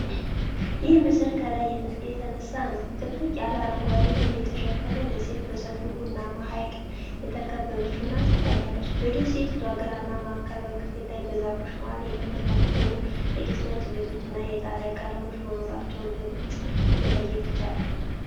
ይህ ምስል ከላይ የተነሳ ነው፣ ጥቅጥቅ ባለ አረንጓዴ ደን የተሸፈነ ደሴት በሰፊው ቡናማ ሐይቅ የተከበበች ሆና ትታያለች። በደሴቲቱ ግራና ማዕከላዊ ክፍል ላይ በዛፎቹ መሃል የተበተኑ ጥቂት ነጭ ቤቶችና የጣሪያ ቀለሞች መኖራቸውን በግልፅ መለየት ይቻላል።